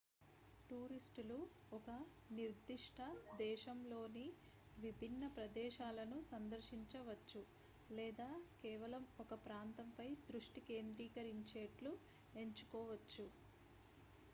టూరిస్ట్లు ఒక నిర్దిష్ట దేశంలోని విభిన్న ప్రదేశాలను సందర్శించవచ్చు లేదా కేవలం ఒక ప్రాంతంపై దృష్టి కేంద్రీకరించేట్లు ఎంచుకోవచ్చు